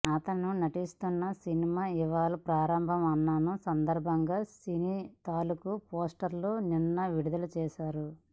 అతను నటిస్తున్న సినిమా ఇవాళ ప్రారంభం అవనున్న సందర్బంగా సినిమా తాలూకు పోస్టర్ నిన్న విడుదల చేసారు